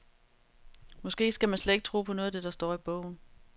Måske skal man slet ikke tro på noget af det, der står i bogen?